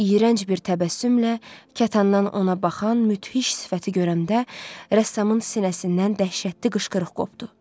İyrənc bir təbəssümlə kətandan ona baxan müthiş sifəti görəndə rəssamın sinəsindən dəhşətli qışqırıq qopdu.